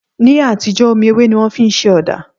Ní àtijọ́, omi ewé ni wọ́n fi ń ṣe ọ̀dà